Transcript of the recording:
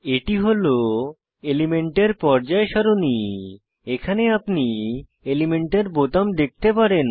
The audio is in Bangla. এটি হল এলিমেন্টের পর্যায় সারণী এখানে আপনি এলিমেন্টের বোতাম দেখতে পারেন